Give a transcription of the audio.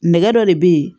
Nɛgɛ dɔ de bɛ ye